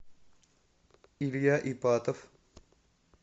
илья ипатов